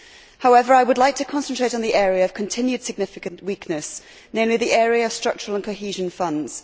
However, I would like to concentrate on the area of continued significant weakness, namely the area of structural and cohesion funds.